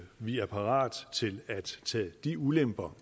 vi er parate til at tage de ulemper